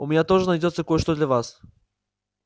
у меня тоже найдётся кое-что для вас